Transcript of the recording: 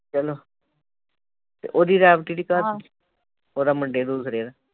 ਚਲੋ ਤੇ ਉਹਦੀ ਰੈਬਟੀ ਦੀ ਘਰ ਦੀ ਉਹਦਾ ਮੁੰਡੇ ਨੂੰ ਰਿਹਾ